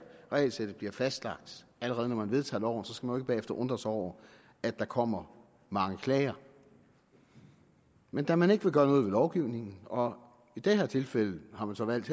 regelsættet bliver fastlagt når man vedtager loven så skal man bagefter undre sig over at der kommer mange klager men da man ikke vil gøre noget ved lovgivningen og i det her tilfælde har man så valgt